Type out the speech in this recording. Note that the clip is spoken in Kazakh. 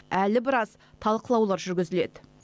әлі біраз талқылаулар жүргізіледі